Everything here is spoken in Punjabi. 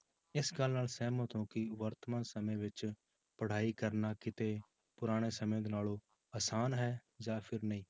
ਇਸ ਗੱਲ ਨਾਲ ਸਹਿਮਤ ਹੋ ਕਿ ਵਰਤਮਾਨ ਸਮੇਂ ਵਿੱਚ ਪੜ੍ਹਾਈ ਕਰਨਾ ਕਿਤੇ ਪੁਰਾਣੇ ਸਮੇਂ ਦੇ ਨਾਲੋਂ ਆਸਾਨ ਹੈ ਜਾਂ ਫਿਰ ਨਹੀਂ।